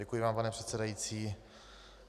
Děkuji vám, pane předsedající.